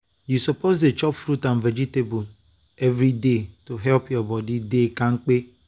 you suppose dey chop fruit and vegetables every day to help your body to dey kampe.